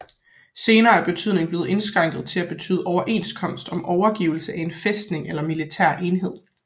Senere er betydningen blevet indskrænket til at betyde overenskomst om overgivelse af en fæstning eller en militær enhed